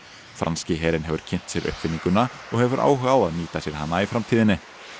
franski herinn hefur kynnt sér uppfinninguna og hefur áhuga á að nýta sér hana í framtíðinni